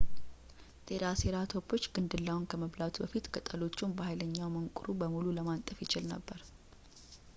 ትራሴራቶፖች ግንድላውን ከመብላቱ በፊት ቅጠሎቹን በኃይለኛ መንቁሩ በሙሉ ለማንጠፍ ይችል ነበር